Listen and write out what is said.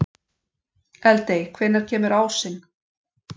Eldey, hvenær kemur ásinn?